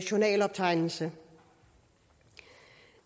journaloptegnelse